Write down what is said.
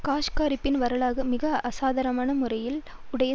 காஷ்காரியின் வரலாறு மிக அசாதாரண முறையில் உடைய